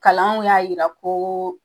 Kalanw y'a yira ko